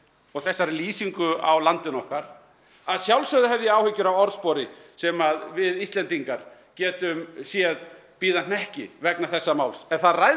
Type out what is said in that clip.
og þessari lýsingu á landinu okkar að sjálfsögðu hef ég áhyggjur af orðspori sem við Íslendingar getum séð bíða hnekki vegna þessa máls en það ræðst